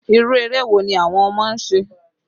Irú eré wo ni àwọn ọmọ ń ṣe?